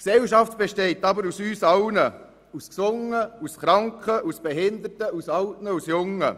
Aber die Gesellschaft besteht aus uns allen: aus Gesunden, aus Kranken, aus Behinderten, aus Alten und aus Jungen.